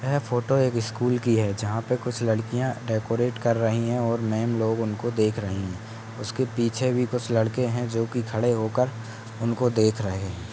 '' यह फोटो एक स्कूल की है जहाँ पे कुछ लड़कियाँ डेकोरेट कर रही हैं और मैंम लोग उनको देख रही हैं उसके पीछे भी कुछ लड़के है जो की खड़े होकर उनको देख रहे हैं ।''